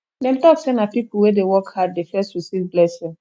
dem tok sey na pipo wey dey work hard dey first receive blessing